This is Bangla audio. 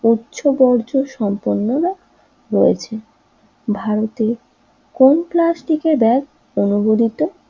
উচ্চ বর্জ্য সম্পন্নরা রয়েছে ভারতে কোন প্লাস্টিকের ব্যাগ অনুমোদিত